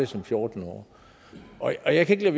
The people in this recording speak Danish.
som fjorten årig og jeg kan